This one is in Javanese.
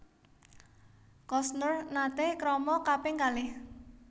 Costner nate krama kaping kalih